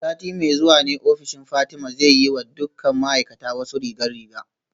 A sati mai zuwa ne ofishin Fatima zai yi wa dukkan ma'aikata wasu rigar riga